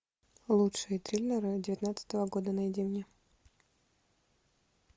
лучшие триллеры девятнадцатого года найди мне